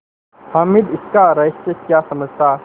हामिद इसका रहस्य क्या समझता